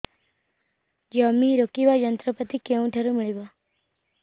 ଜମି ରୋଇବା ଯନ୍ତ୍ରପାତି କେଉଁଠାରୁ ମିଳିବ